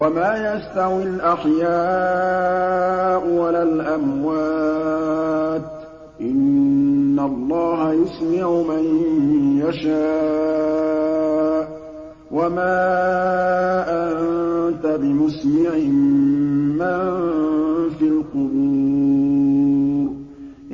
وَمَا يَسْتَوِي الْأَحْيَاءُ وَلَا الْأَمْوَاتُ ۚ إِنَّ اللَّهَ يُسْمِعُ مَن يَشَاءُ ۖ وَمَا أَنتَ بِمُسْمِعٍ مَّن فِي الْقُبُورِ